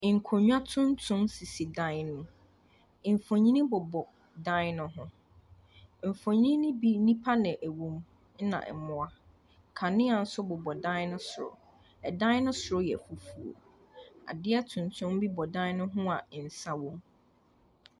Nkonnwa tuntum sisi dan no mu. Mfonim bobɔ dan no ho. Mfonin no bi, nnipa na wɔwɔ mu, ɛna mmoa. Kanea nso bobɔ dan no soro. Dan no soro yɛ fufuo. Adeɛ tuntum bi bɔ dan no ho a nsa wɔ mu.